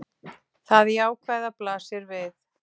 Það jákvæða blasir við.